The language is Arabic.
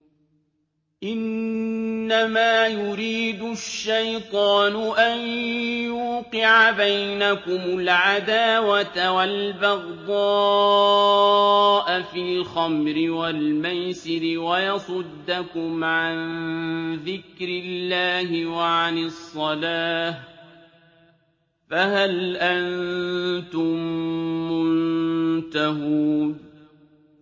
إِنَّمَا يُرِيدُ الشَّيْطَانُ أَن يُوقِعَ بَيْنَكُمُ الْعَدَاوَةَ وَالْبَغْضَاءَ فِي الْخَمْرِ وَالْمَيْسِرِ وَيَصُدَّكُمْ عَن ذِكْرِ اللَّهِ وَعَنِ الصَّلَاةِ ۖ فَهَلْ أَنتُم مُّنتَهُونَ